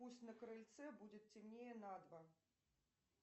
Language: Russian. пусть на крыльце будет темнее на два